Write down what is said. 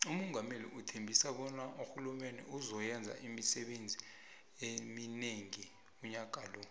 umungameli uthembise bona urhulumende uzo yenza imisebenzi emonengi unyaka lo